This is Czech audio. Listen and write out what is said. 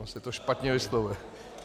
Ono se to špatně vyslovuje.